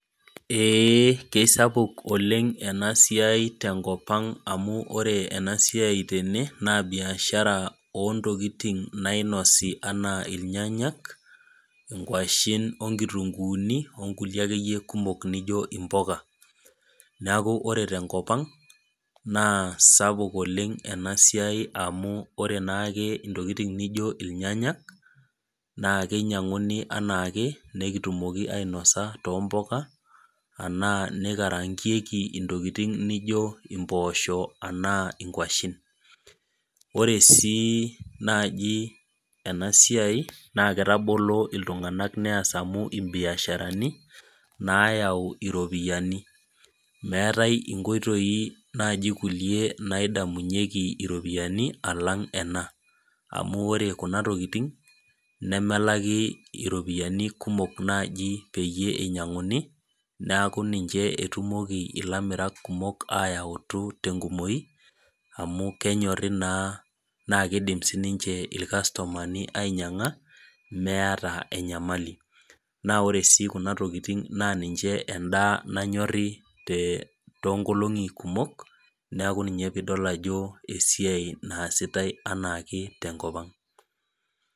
Ee kesapuk oleng enasiai tenkop ang amu ore enasiai tene, naa biashara ontokiting nainosi enaa irnyanyak, inkwashen onkitunkuuni, onkulie akeyie kumok nijo impuka. Neeku ore tenkop ang, naa sapuk oleng enasiai amu ore naake intokiting nijo irnyanya, naa kinyang'uni anaake, nikitumoki ainasa tompuka, anaa nikaraankieki ntokiting nijo impoosho anaa inkwashen. Ore si naji enasiai, naa kitagoloo iltung'anak nias amu ibiasharani, nayau iropiyiani. Meetai inkoitoi nai kulie nadamunyeki iropiyiani, alang' ena. Amu ore kuna tokiting, nemelaki iropiyiani naji kumok peyie inyang'uni, neeku ninche etumoki ilamirak kumok ayautu tenkumoyu, amu kenyorri naa nakidim sinche irkastomani ainyang'a, meeta enyamali. Na ore si kuna tokiting naa ninche endaa nanyori tonkolong'i kumok, neeku ninye pidol ajo esiai naasitai enaake tenkop ang'.